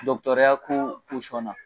Dɔgɔtɔrɔya ko na